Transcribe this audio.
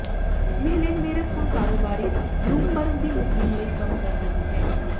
Mehlenbacher ਹੁਣ ਕਾਰੋਬਾਰੀ Bloomberg ਦੀ ਮੁਹਿੰਮ ਲਈ ਕੰਮ ਕਰ ਰਹੀ ਹੈ